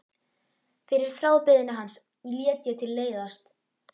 Fyrir þrábeiðni hans lét ég til leiðast.